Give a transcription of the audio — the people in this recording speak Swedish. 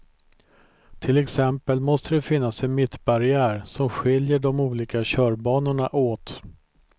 Till exempel måste det finnas en mittbarriär som skiljer de olika körbanorna åt.